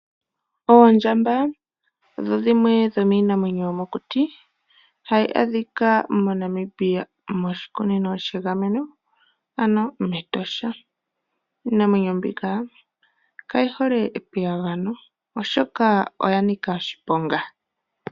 Oondjamba odho dhimwe dho miinamwenyo yomokuti, ohayi adhika moNamibia moshikunino she gameno, ano mEtosha. Iinamwenyo mbika kayi hole epiyagano oshoka oya nika oshiponga.